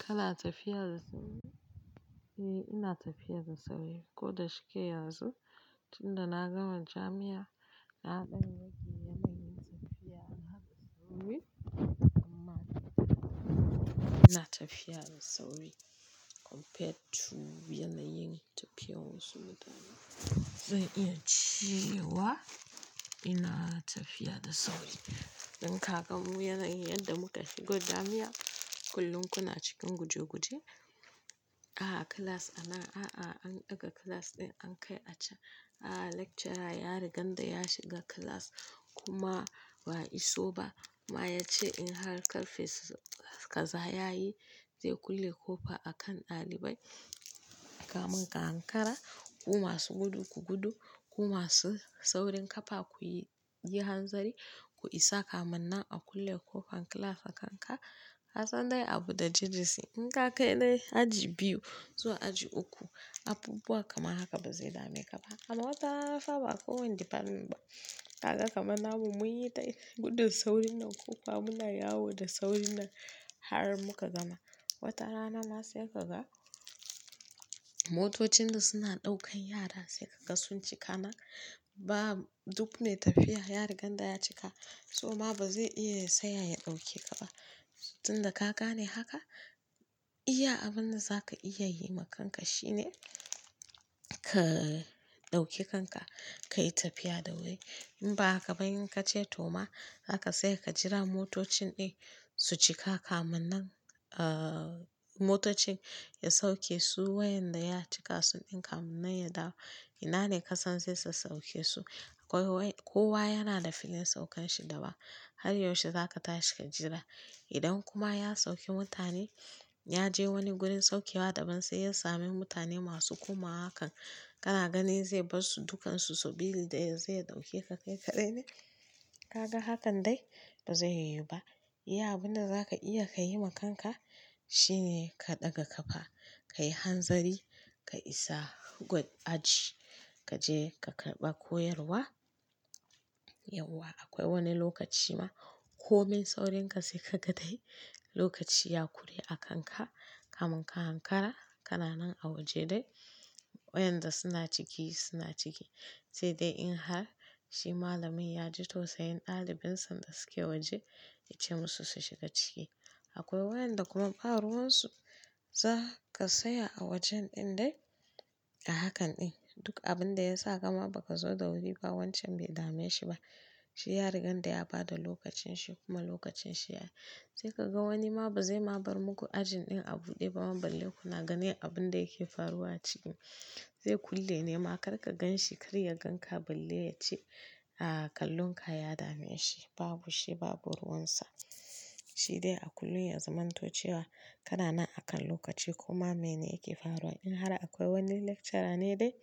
Kana tafiya da sauri? Eh, ina tafiya da sauri, ko da shike yanzu. Tunda na gama jami'a, na ɗan rage yawan tafiya da na haɗa sauri. Amma ina tafiya da sauri compared to yanayin tafiyar wasu mutane. Zai iya cewa ina tafiya da sauri. In ka kamo yanayi yadda muka shigo jami'a, kullum kuna cikin guje guje. A'a class anan, a'a an ɗaga class ɗin an kai a can. A'a lecturer ya riga da ya shiga class kuma ba iso ba. Ma ya ce in har karfe kaza ya yi, zai kulle ƙofa a kan ɗalibai. Kamin ka hankara, kuma su gudu ku gudu, kuma su saurayin ƙafa kuyi hanzari ku isa kamin nan a kulle ƙofar class a kanka. Kasan dai abu da jiji si. In ka kai dai aji biyu zuwa aji uku, abubuwa kamar haka bazai dame ka ba. Amma watarana fa ba kowane department ba. Kaga kamar namu mun yi ta gudun saurin nan ƙofa muna yawo da saurin nan har muka gama. Watarana na sai ka ga motocin da suna ɗaukan yara sai ka ga sun cika nan. Ba duk ne tafiya ya riga da ya cika, so ma ba zai iya saya ya ɗauke ka ba. Tunda ka gane haka, iya abin da za ka iya yi ma kanka shine ka ɗauke kanka ka yi tafiya da wuri. In ba haka ba in ka ce to ma haka sai ka jira motocin din su cika kamin nan, aa motocin ya sauke su wayanda ya cika sun ɗinka munin ya dawo. Ina ne kasan zai sauke su? Akwai wai kowa yana da filin saukan shi daban. Har yaushe za ka tashi ka jira. Idan kuma ya sauke mutane, ya je wani gurin saukewa daban sai ya same mutane masu komawa hakan. Kana gani zai bar su dukansu sabili da ya zai ɗauke ka kai kaɗai ne? Kaga hakan dai ba zai yiwu ba. Iya abin da za ka iya yi ma kanka shine ka ɗaga ƙafa, ka yi hanzari, ka isa good aji. Ka je ka karɓa koyarwa. Yauwa akwai wani lokaci ma ko min saurinka sai ka ga dai lokaci ya kure a kanka kamin ka hankara. Kana nan a waje dai wayanda suna ciki suna ciki. Sai dai in har shi malamin ya ji tausayin ɗalibin sa da suke waje ya ce musu su shiga ciki. Akwai wayanda kuma ba ruwan su za ka saya a wajen ɗin dai a hakan ɗin. Duk abin da ya sa kama ba ka zo da wuri ba wancan bai dame shi ba. Shi ya riga da ya bada lokacin shi kuma lokacin shi yayi. Sai ka ga wani ma bazai ma bar muku ajin ɗin a buɗe ba. Balle kuna ganin abin da yake faruwa a cikin. Zai kulle ne ma, kar ka ganshi kar ya gan ka balle ya ce, a'a kallon ka ya dame shi. Babu shi babu ruwan sa. Shi dai a kullum ya zamanto cewa kana nan akan lokaci kuma mene yake faruwa. In har akwai wani lecturer ne dai